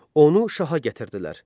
Onu şaha gətirdilər.